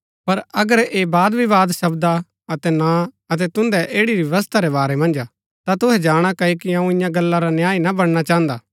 पर अगर ऐह वादविवाद शब्दा अतै नां अतै तुन्दै ऐड़ी री व्यवस्था रै बारै मन्ज हा ता तुहै जाणा क्ओकि अऊँ इन्या गल्ला रा न्यायी ना बणना चाहन्दा